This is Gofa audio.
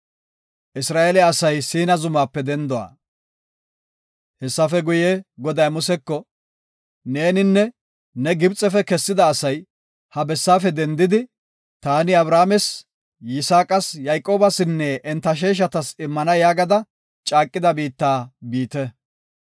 Hessafe guye, Goday Museko, “Neeninne ne Gibxefe kessida asay ha bessaafe dendidi, taani Abrahaames, Yisaaqas, Yayqoobasinne enta sheeshatas immana yaagada caaqida biitta biite.